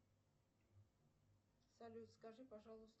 салют скажи пожалуйста